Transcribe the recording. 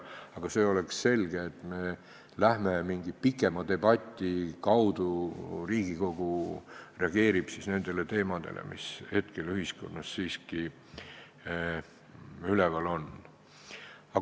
Aga siis oleks selge, et mingi pikema debati kaudu Riigikogu reageerib nendele teemadele, mis hetkel ühiskonnas üleval on.